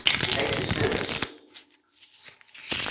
Ég neyddist til þess.